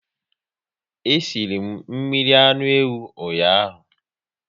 E sịrị mmiri anụ ewu ụnyaahụ